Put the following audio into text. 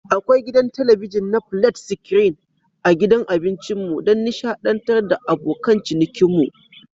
Akwai gidan talabijin na flat screen a gidan abincinmu don nishadantar da abokan cinikinmu.